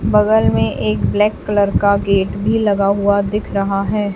बगल में एक ब्लैक कलर का गेट भी लगा हुआ दिख रहा है।